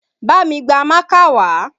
Bámi gba mákà wá!